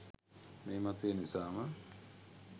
මේ මතය නිසාම